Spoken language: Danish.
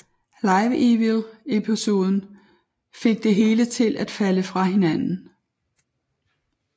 Live Evil episoden fik det hele til at hele falde fra hinanden